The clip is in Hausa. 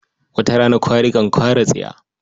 Wata rana kwari kan kwara tsiya.